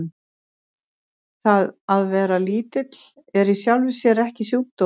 Það að vera lítill er í sjálfu sér ekki sjúkdómur.